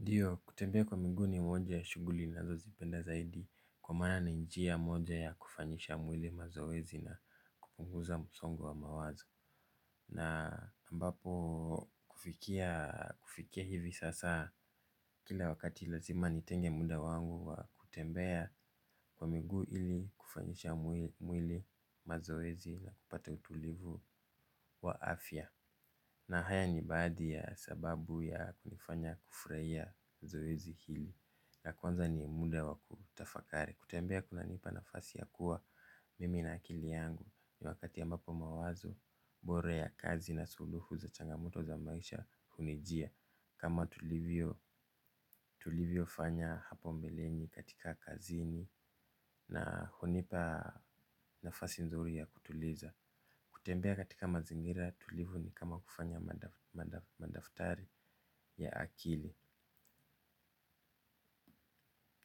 Ndio kutembea kwa miguu ni moja ya shughuli ninazozipenda zaidi kwa maana ni njia moja ya kufanyisha mwili mazoezi na kupunguza msongo wa mawazo. Na ambapo kufikia hivi sasa kila wakati lazima nitenge muda wangu wa kutembea kwa miguu ili kufanyisha mwili mazoezi na kupata utulivu wa afya. Na haya ni baadhi ya sababu ya kunifanya kufurahia zoezi hili ya kwanza ni muda wa kutafakari kutembea kunanipa nafasi ya kuwa mimi na akili yangu ni wakati ambapo mawazo bora ya kazi na suluhu za changamoto za maisha hunijia. Kama tulivyofanya hapo mbeleni katika kazini na hunipa nafasi nzuri ya kutuliza. Kutembea katika mazingira tulivu ni kama kufanya madaftari ya akili.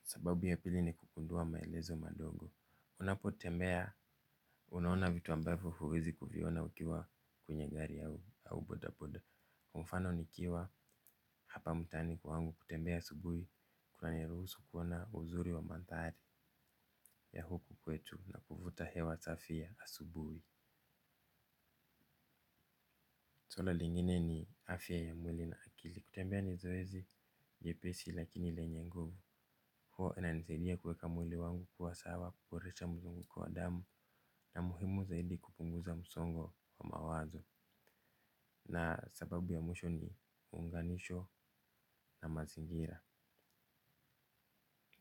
Sababu ya pili ni kugundua maelezo madogo. Unapotembea unaona vitu ambavyo huwezi kuviona ukiwa kwenye gari au bodaboda kwa mfano nikiwa hapa mtaani kwangu kutembea asubuhi. Kunaniruhusu kuona uzuri wa mandhari ya huku kwetu na kuvuta hewa safi ya asubuhi lingine ni afya ya mwili na akili. Kutembea ni zoezi nyepesi lakini lenye nguvu. Huwa inanisaidia kuweka mwili wangu kuwa sawa kuboresha mwilini kwa damu. Na muhimu zaidi kupunguza msongo wa mawazo. Na sababu ya mwisho ni uunganisho na mazingira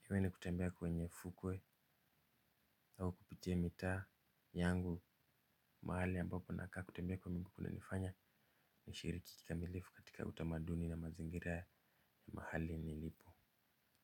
iwe ni kutembea kwenye fukwe au kupitie mitaa yangu. Mahali ambapo nakaa kutembea kwa miguu kunanifanya nishiriki kikamilifu katika utamaduni na mazingira ya mahali nilipo.